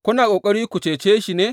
Kuna ƙoƙari ku cece shi ne?